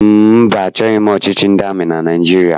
Mba, achọghị m ọchịchị ndị amị na Naịjirịa.